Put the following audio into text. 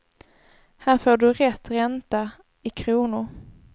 Här får du rätt ränta i kronor.